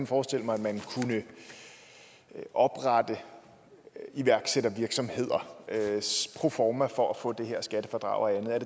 forestille mig at man kunne oprette iværksættervirksomheder proforma for at få det her skattefradrag og andet